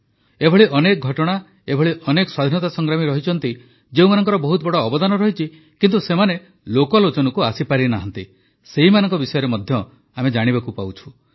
ଅନେକ ଏଭଳି ଘଟଣା ଏଭଳି ସ୍ୱାଧୀନତା ସଂଗ୍ରାମୀ ଯେଉଁମାନଙ୍କର ବହୁତ ବଡ଼ ଅବଦାନ ରହିଛି କିନ୍ତୁ ସେମାନେ ଲୋକଲୋଚନକୁ ଆସିପାରିନାହାନ୍ତି ସେମାନଙ୍କ ବିଷୟରେ ମଧ୍ୟ ଜାଣିବାକୁ ପାଉଛୁ